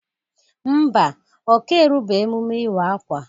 Ḿbà, Ọ ka erube emume iwa-akwa.